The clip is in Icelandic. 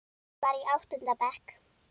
Var í áttunda bekk.